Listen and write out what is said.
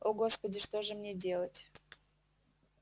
о господи что же мне делать